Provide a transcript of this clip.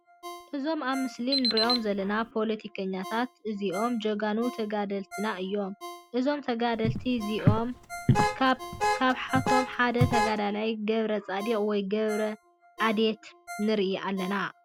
እዞም ኣብ ምስሊ እንሪኦም ዘለና ፖለቲከኛታት እዞኦም ጀጋኑ ተጋደልትና እዮም። እዞም ተጋደልቲ እዚኦም ካብሓቶም ሓደ ተጋዳይ ገብረፃድቃን ወይ ገብረ ዓድየት ንርኢ ኣለና።